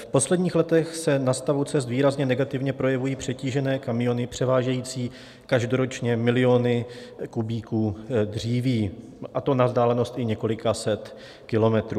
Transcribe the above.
V posledních letech se na stavu cest výrazně negativně projevují přetížené kamiony převážející každoročně miliony kubíků dříví, a to na vzdálenost i několika set kilometrů.